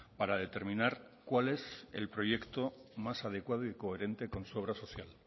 para determinar cuál es el proyecto más adecuado y coherente con su obra social